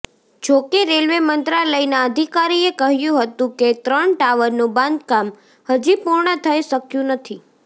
જોકે રેલવે મંત્રાલયના અધિકારીએ કહ્યુ હતું કે ત્રણ ટાવરનું બાંધકામ હજી પૂર્ણ થઇ શક્યું નથી